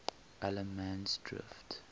allemansdrift